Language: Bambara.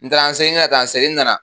N taara n seli, n bɛna taa n seli n nana